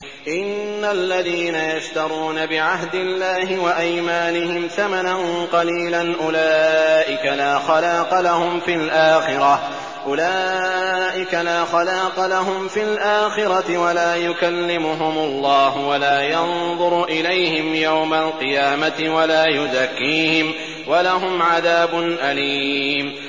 إِنَّ الَّذِينَ يَشْتَرُونَ بِعَهْدِ اللَّهِ وَأَيْمَانِهِمْ ثَمَنًا قَلِيلًا أُولَٰئِكَ لَا خَلَاقَ لَهُمْ فِي الْآخِرَةِ وَلَا يُكَلِّمُهُمُ اللَّهُ وَلَا يَنظُرُ إِلَيْهِمْ يَوْمَ الْقِيَامَةِ وَلَا يُزَكِّيهِمْ وَلَهُمْ عَذَابٌ أَلِيمٌ